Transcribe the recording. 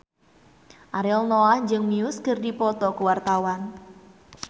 Ariel Noah jeung Muse keur dipoto ku wartawan